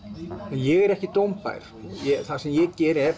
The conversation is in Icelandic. ég er ekki dómbær það sem ég geri er